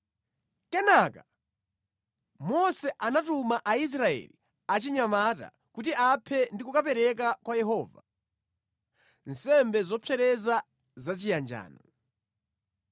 Kenaka Mose anatuma Aisraeli achinyamata kuti aphe ndi kukapereka kwa Yehova nsembe zopsereza zachiyanjano.